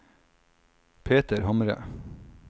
Peter Hamre